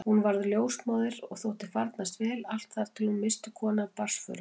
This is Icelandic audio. Hún varð ljósmóðir og þótti farnast vel allt þar til hún missti konu af barnsförum.